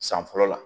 San fɔlɔ la